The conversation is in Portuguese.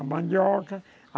A mandioca.